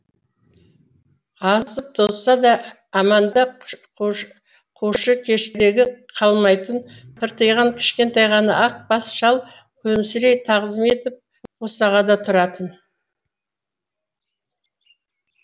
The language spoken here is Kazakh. азып тозса да әманда қушыкештігі қалмайтын тыртиған кішкентай ғана ақ бас шал күлімсірей тағзым етіп босағада тұратын